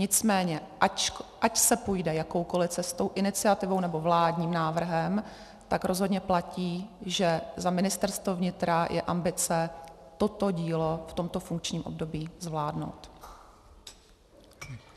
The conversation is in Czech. Nicméně ať se půjde jakoukoli cestou, iniciativou, nebo vládním návrhem, tak rozhodně platí, že za ministerstvo vnitra je ambice toto dílo v tomto funkčním období zvládnout.